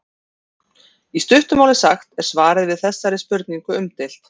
í stuttu máli sagt er svarið við þessari spurningu umdeilt